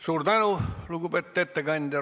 Suur tänu, lugupeetud ettekandja!